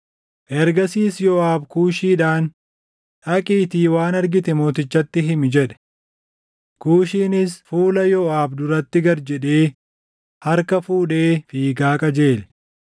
Ergasiis Yooʼaab Kuushiidhaan, “Dhaqiitii waan argite mootichatti himi” jedhe. Kuushiinis fuula Yooʼaab duratti gad jedhee harka fuudhee fiigaa qajeele.